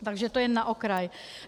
Takže to jen na okraj.